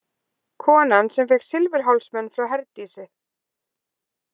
Konan sem fékk silfurhálsmen frá Herdísi.